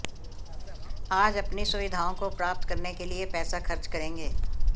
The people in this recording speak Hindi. आज अपनी सुविधाओं को प्राप्त करने के लिए पैसा खर्च करेंगे